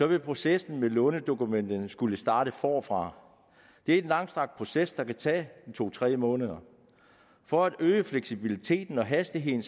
vil processen med lånedokumenterne skulle startes forfra det er en langstrakt proces der kan tage to tre måneder for at øge fleksibiliteten og hastigheden